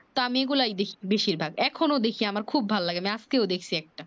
তা আমি এই গুলাই দেখি বেশি ভাগ এখন ও আমি দেখি আমার খুব ভালো লাগে আজকেও দেখছি একটা